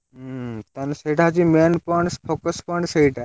ହୁଁ, ତା ମାନେ ସେଇଟା ହଉଛି main point focus point ସେଇଟା।